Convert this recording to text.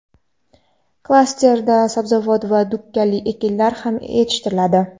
Klasterda sabzavot va dukkakli ekinlar ham yetishtiriladi.